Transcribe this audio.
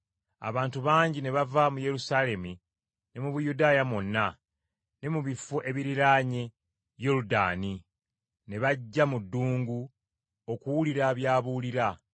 Abantu bangi ne bava mu Yerusaalemi ne mu Buyudaaya mwonna ne mu bifo ebiriraanye Yoludaani ne bajja mu ddungu okuwulira by’abuulira.